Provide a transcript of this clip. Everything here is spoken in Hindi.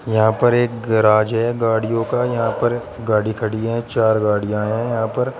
यहां पर एक गेराज है गाड़ियों का यहां पर गाड़ी खड़ी हैं चार गाड़ियां हैं यहां पर।